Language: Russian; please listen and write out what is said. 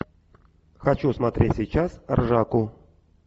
хочу смотреть сейчас ржаку